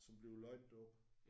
Som bliver løjet derop?